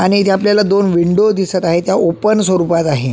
आणि इथे आपल्याला दोन विंडो दिसत आहे त्या ओपन स्वरुपात आहे.